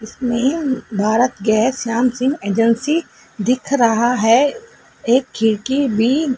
Bharat gas Shyam Singh agency दिख रहा है एक खिड़की भी--